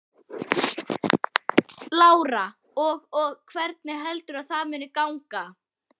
Lára: Og og hvernig heldurðu að það muni ganga?